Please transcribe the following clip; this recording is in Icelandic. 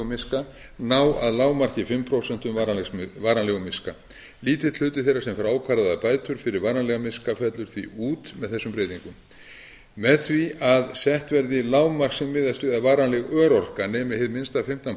miska ná að lágmarki fimm prósent varanlegum miska lítill hluti þeirra sem fær ákvarðaðar bætur fyrir varanlegan miska fellur því út með þessum breytingum með því að sett verði lágmark sem miðast við að varanleg örorka nemi hið minnsta fimmtán